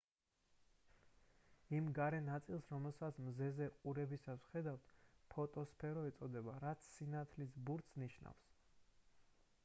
იმ გარე ნაწილს რომელსაც მზეზე ყურებისას ვხედავთ ფოტოსფერო ეწოდება რაც სინათლის ბურთს ნიშნავს